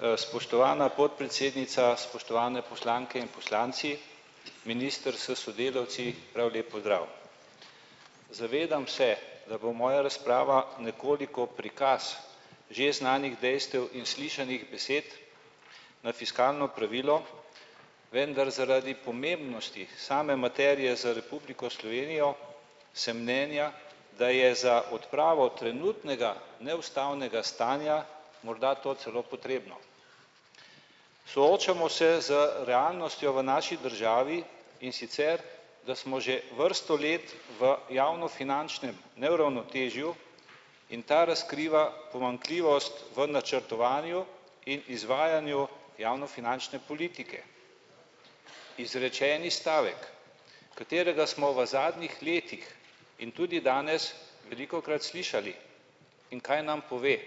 Spoštovana podpredsednica, spoštovane poslanke in poslanci, minister s sodelavci, prav lep pozdrav! Zavedam se, da bo moja razprava nekoliko prikaz že znanih dejstev in slišanih besed na fiskalno pravilo, vendar zaradi pomembnosti same materije za Republiko Slovenijo sem mnenja, da je za odpravo trenutnega neustavnega stanja morda to celo potrebno. Soočamo se z realnostjo v naši državi, in sicer da smo že vrsto let v javnofinančnem neravnotežju in ta razkriva pomanjkljivost v načrtovanju in izvajanju javnofinančne politike. Izrečeni stavek, katerega smo v zadnjih letih in tudi danes velikokrat slišali. In kaj nam pove?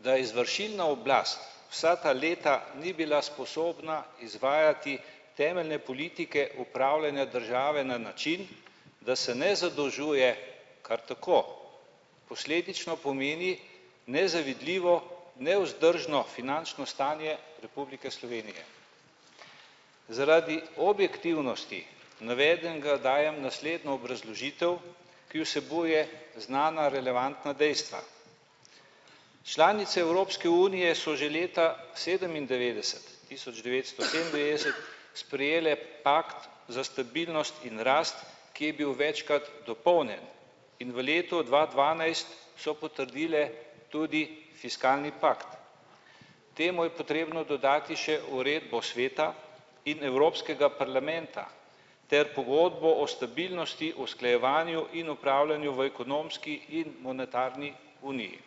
Da izvršilna oblast vsa ta leta ni bila sposobna izvajati temeljne politike upravljanja države na način, da se ne zadolžuje kar tako. Posledično pomeni nezavidljivo nevzdržno finančno stanje Republike Slovenije. Zaradi objektivnosti navedenega dajem naslednjo obrazložitev, ki vsebuje znana relevantna dejstva. Članice Evropske unije so že leta sedemindevetdeset tisoč devetsto sedemindevetdeset sprejele pakt za stabilnost in rast, ki je bil večkrat dopolnjen. In v letu dva dvanajst so potrdile tudi fiskalni pakt. Temu je potrebno dodati še uredbo Sveta in Evropskega parlamenta ter Pogodbo o stabilnosti, usklajevanju in opravljanju v ekonomski in monetarni uniji.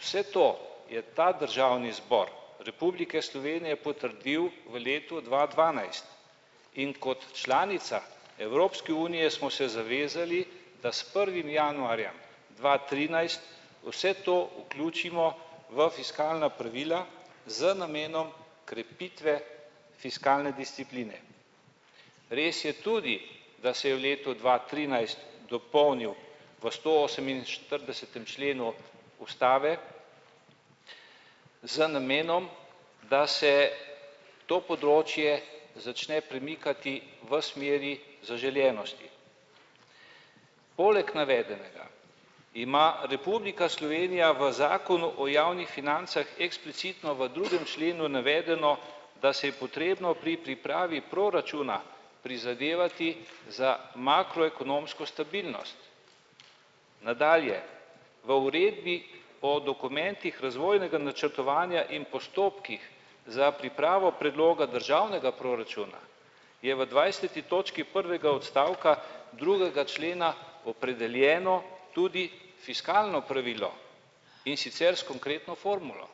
Vse to je ta Državni zbor Republike Slovenije potrdil v letu dva dvanajst. In kot članica Evropske unije smo se zavezali, da s prvim januarjem dva trinajst vse to vključimo v fiskalna pravila z namenom krepitve fiskalne discipline. Res je tudi, da se je v letu dva trinajst dopolnil v stooseminštiridesetem členu ustave z namenom, da se to področje začne premikati v smeri zaželenosti. Poleg navedenega ima Republika Slovenija v zakonu o javnih financah eksplicitno v drugem členu navedeno, da se je potrebno pri pripravi proračuna prizadevati za makroekonomsko stabilnost. Nadalje, v uredbi o dokumentih razvojnega načrtovanja in postopkih za pripravo predloga državnega proračuna je v dvajseti točki prvega odstavka drugega člena opredeljeno tudi fiskalno pravilo, in sicer s konkretno formulo.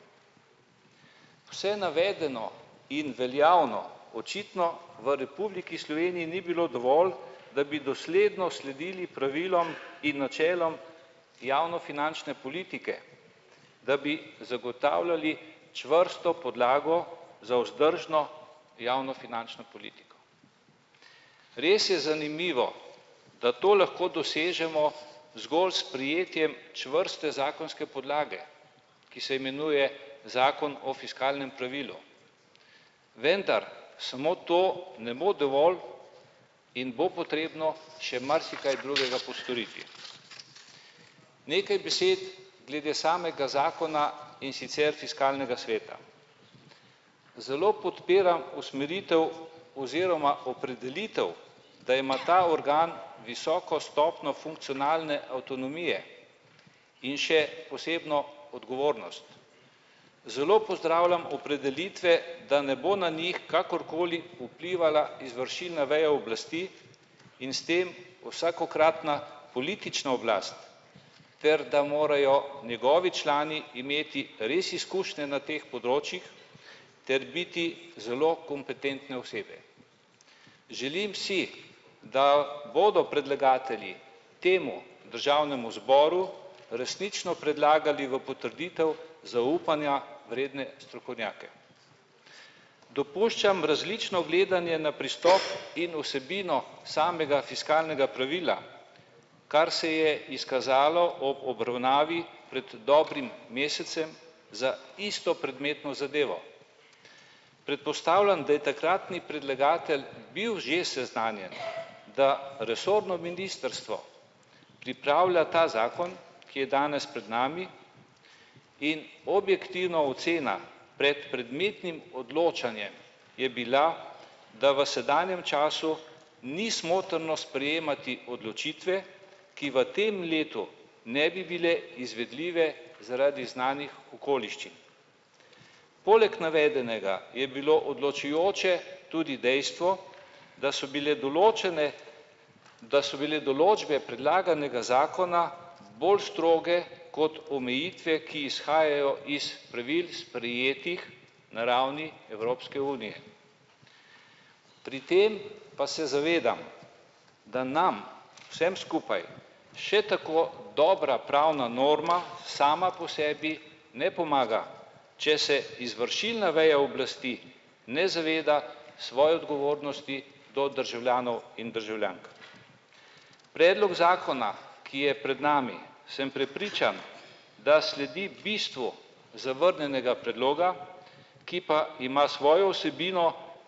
Vse navedeno in veljavno očitno v Republiki Sloveniji ni bilo dovolj, da bi dosledno sledili pravilom in načelom javnofinančne politike. Da bi zagotavljali čvrsto podlago za vzdržno javnofinančno politiko. Res je zanimivo, da to lahko dosežemo zgolj s prijetjem čvrste zakonske podlage, ki se imenuje zakon o fiskalnem pravilu. Vendar samo to ne bo dovolj in bo potrebno še marsikaj drugega postoriti. Nekaj besed glede samega zakona, in sicer fiskalnega sveta. Zelo podpiram usmeritev oziroma opredelitev, da ima ta organ visoko stopnjo funkcionalne avtonomije. In še posebno odgovornost. Zelo pozdravljam opredelitve, da ne bo na njih kakorkoli vplivala izvršilna veja oblasti in s tem vsakokratna politična oblast ter da morajo njegovi člani imeti res izkušnje na teh področjih ter biti zelo kompetentne osebe. Želim si, da bodo predlagatelji temu državnemu zboru resnično predlagali v potrditev zaupanja vredne strokovnjake. Dopuščam različno gledanje na pristop in vsebino samega fiskalnega pravila. Kar se je izkazalo ob obravnavi pred dobrim mesecem za isto predmetno zadevo. Predpostavljam, da je takratni predlagatelj bil že seznanjen, da resorno ministrstvo pripravlja ta zakon, ki je danes pred nami, in objektivna ocena pred predmetnim odločanjem je bila, da v sedanjem času ni smotrno sprejemati odločitve, ki v tem letu ne bi bile izvedljive zaradi znanih okoliščin. Poleg navedenega je bilo odločujoče tudi dejstvo, da so bile določene, da so bile določbe predlaganega zakona bolj stroge kot omejitve, ki izhajajo iz pravil, sprejetih na ravni Evropske unije. Pri tem pa se zavedam, da nam vsem skupaj še tako dobra pravna norma sama po sebi ne pomaga, če se izvršilna veja oblasti ne zaveda svoje odgovornosti do državljanov in državljank. Predlog zakona, ki je pred nami, sem prepričan, da sledi bistvu zavrnjenega predloga, ki pa ima svojo vsebino,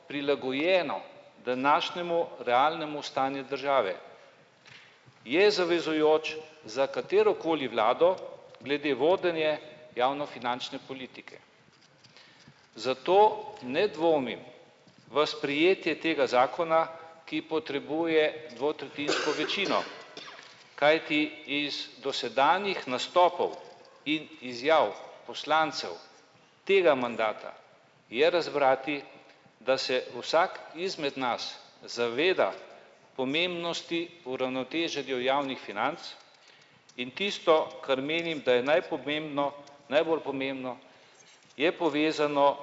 prilagojeno današnjemu realnemu stanju države. Je zavezujoč za katerokoli vlado glede vodenja javnofinančne politike. Zato ne dvomim v sprejetje tega zakona, ki potrebuje dvotretjinsko večino. Kajti iz dosedanjih nastopov in izjav poslancev tega mandata je razbrati, da se vsak izmed nas zaveda pomembnosti po uravnoteženju javnih financ, in tisto kar menim, da je najbolj pomembno, najbolj pomembno, je povezano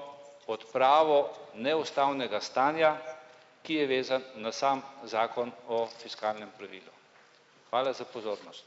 odpravo neustavnega stanja, ki je vezano na sam zakon o fiskalnem pravilu. Hvala za pozornost.